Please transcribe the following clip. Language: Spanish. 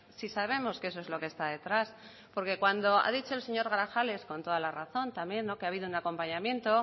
si sabemos que eso es lo que está detrás porque cuando ha dicho el señor grajales con toda la razón también que ha habido un acompañamiento